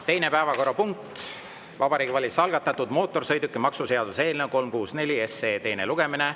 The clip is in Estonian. Teine päevakorrapunkt: Vabariigi Valitsuse algatatud mootorsõidukimaksu seaduse eelnõu 364 teine lugemine.